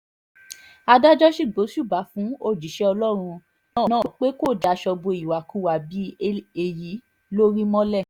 adájọ́ sì gbóṣùbà fún òjíṣẹ́ ọlọ́run náà pé kó daṣọ bo ìwàkiwà bíi èyí lórí mọ́lẹ̀